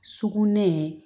Sugunɛ